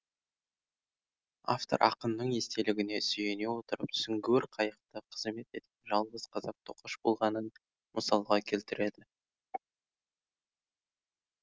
автор ақынның естелігіне сүйене отырып сүңгуір қайықта қызмет еткен жалғыз қазақ тоқаш болғанын мысалға келтіреді